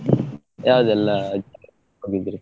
ಯಾವ್ದೆಲ್ಲ ಜಾಗಕ್ಕೆ ಹೋಗಿದ್ರಿ?